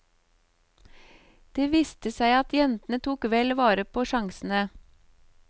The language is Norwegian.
Det viste seg at jentene tok vel vare på sjansene.